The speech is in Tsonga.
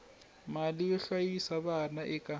mali yo hlayisa vana eka